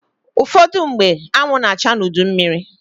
Ụfọdụmgbe, anwụ na-acha n'udu mmịrị.